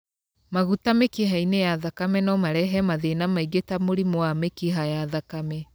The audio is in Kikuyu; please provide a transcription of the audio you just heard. Maguta mĩkiha-inĩ ya thakame no marehe mathina mangĩ ta mũrimũ wa mĩkiha ya thakame.